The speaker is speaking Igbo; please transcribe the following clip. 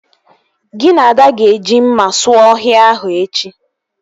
Gị na Ada ga-eji mma sụọ ọhịa ahụ echi